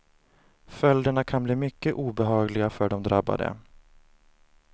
Följderna kan bli mycket obehagliga för de drabbade.